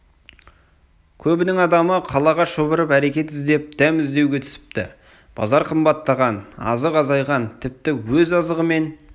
көбінің адамы қалаға шұбырып әрекет іздеп дәм іздеуге түсіпті базар қымбаттаған азық азайған тіпті өз азығымен